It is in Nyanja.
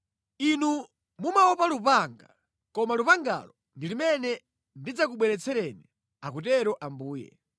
Inu mumaopa lupanga, koma lupangalo ndi limene ndidzakubweretsereni, akutero Ambuye.